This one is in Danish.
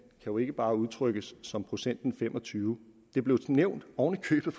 jo ikke bare udtrykkes som procenten femogtyvende det blev nævnt oven i købet